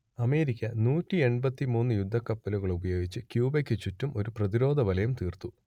America നൂറ്റിയെൺപത്തി മൂന്ന് യുദ്ധക്കപ്പലുകളുപയോഗിച്ച് ക്യൂബക്കു ചുറ്റും ഒരു പ്രതിരോധവലയം തീർത്തു